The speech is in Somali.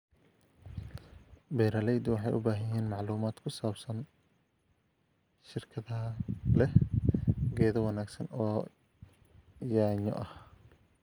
Beeraleydu waxay u baahan yihiin macluumaad ku saabsan shirkadaha leh geedo wanaagsan oo yaanyo ah.